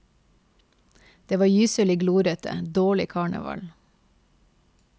Det var gyselig glorete, dårlig karneval.